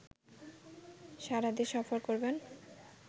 সারাদেশ সফর করবেন